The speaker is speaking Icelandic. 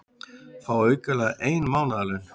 Fá aukalega ein mánaðarlaun